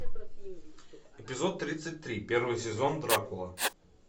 эпизод тридцать три первый сезон дракула